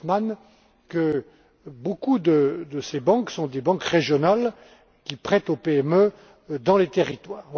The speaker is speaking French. Dorfmann, que beaucoup de ces banques sont des banques régionales, qui prêtent aux PME dans les territoires.